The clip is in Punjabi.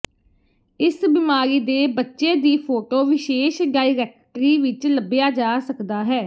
ਇਸ ਬਿਮਾਰੀ ਦੇ ਬੱਚੇ ਦੀ ਫ਼ੋਟੋ ਵਿਸ਼ੇਸ਼ ਡਾਇਰੈਕਟਰੀ ਵਿੱਚ ਲੱਭਿਆ ਜਾ ਸਕਦਾ ਹੈ